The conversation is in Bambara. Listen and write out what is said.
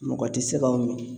Mɔgɔ te se ka o mi